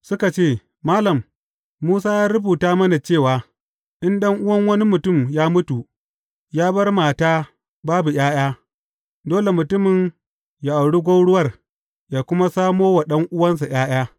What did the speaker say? Suka ce, Malam, Musa ya rubuta mana cewa, in ɗan’uwan wani mutum ya mutu, ya bar mata babu ’ya’ya, dole mutumin ya auri gwauruwar, yă kuma samo wa ɗan’uwansa ’ya’ya.